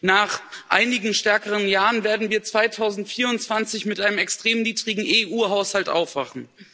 Nach einigen stärkeren Jahren werden wir 2024 mit einem extrem niedrigen EU Haushalt aufwachen.